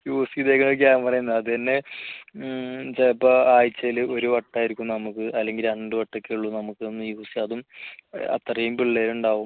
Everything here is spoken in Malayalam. use ചെയ്തിരുന്ന camera അതുതന്നെ ചിലപ്പോൾ ആഴ്ചയിൽ ഒരു വട്ടം ആയിരിക്കും നമുക്ക് അല്ലെങ്കിൽ രണ്ടു വട്ടം ഒക്കെയുള്ള നമുക്കൊന്ന് use അതും അത്രയും പിള്ളേര് ഉണ്ടാവും